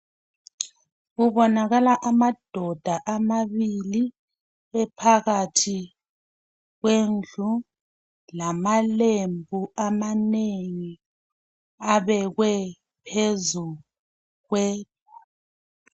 Kubonakala amadoda ababili ephakathi kwendlu. Lamalembu abekwe phezu kwe..